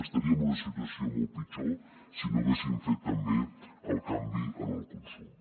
estaríem en una situació molt pitjor si no haguéssim fet també el canvi en el consum